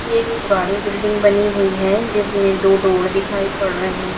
ये एक पुरानी बिल्डिंग बनी हुई है जिसमें दो डोर दिखाई पड़ रहे--